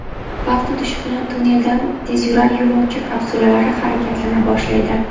Vaqt o‘tishi bilan tunneldan tezyurar yo‘lovchi kapsulalari harakatlana boshlaydi.